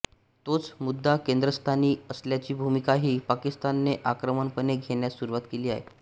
तोच मुद्दा केंद्रस्थानी असल्याची भूमिकाही पाकिस्तानने आक्रमकपणे घेण्यास सुरवात केली आहे